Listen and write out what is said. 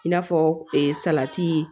I n'a fɔ salati